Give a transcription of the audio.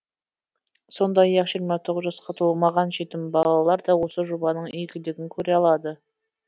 сондай ақ жиырма тоғыз жасқа толмаған жетім балалар да осы жобаның игілігін көре алады